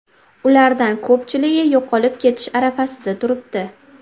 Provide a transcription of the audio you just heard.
Ulardan ko‘pchiligi yo‘qolib ketish arafasida turibdi.